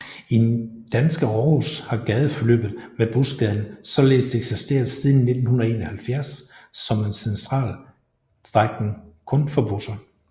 I danske Aarhus har gadeforløbet med Busgaden således eksisteret siden 1971 som en central strækning kun for busser